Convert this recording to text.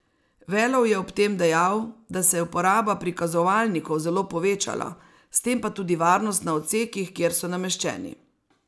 Velov je ob tem dejal, da se je uporaba prikazovalnikov zelo povečala, s tem pa tudi varnost na odsekih, kjer so nameščeni.